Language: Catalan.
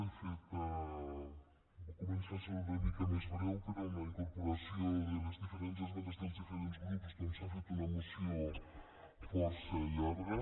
de fet va començar sent una mica més breu però amb la incorporació de les diferents esmenes dels diferents grups doncs s’ha fet una moció força llarga